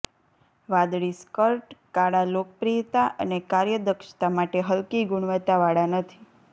વાદળી સ્કર્ટ કાળા લોકપ્રિયતા અને કાર્યદક્ષતા માટે હલકી ગુણવત્તાવાળા નથી